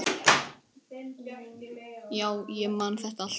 Já, ég man þetta allt.